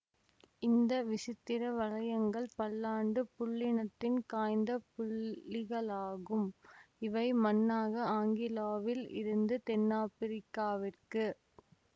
இந்த விசித்திர வளையங்கள் பல்லாண்டுப் புல்லினத்தின் காய்ந்த புள்ளிகளாகும் இவை மண்ணாக ஆங்கிலோவில் இருந்து தென்னாப்பிரிக்காவிற்கு